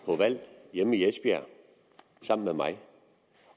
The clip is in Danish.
på valg hjemme i esbjerg sammen med mig